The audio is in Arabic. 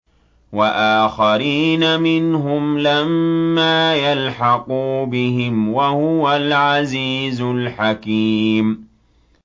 وَآخَرِينَ مِنْهُمْ لَمَّا يَلْحَقُوا بِهِمْ ۚ وَهُوَ الْعَزِيزُ الْحَكِيمُ